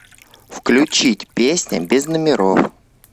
включить песня без номеров